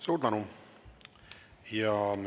Suur tänu!